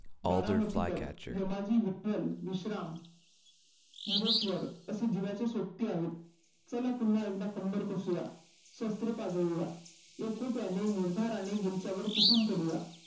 बारामतीकर, यमाजी विठ्ठल, विषराम हिरेश्वर असे जिवाचे सोबती आहेत. चला पुन्हा एकदा कंम्बर कसूया. शस्त्रे पाघळूया एकोप्याने निर्धाराने त्यांच्यावर तुटून पडूया.